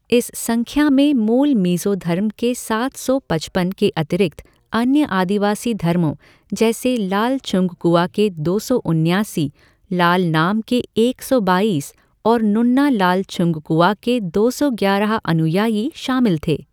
इस संख्या में मूल मिजो धर्म के सात सौ पचपन के अतिरिक्त अन्य आदिवासी धर्मों, जैसे लालछुंगकुआ के दो सौ उन्यासी, लालनाम के एक सौ बाईस और नुन्ना लालछुंगकुआ के दो सौ ग्यारह अनुयायी शामिल थे।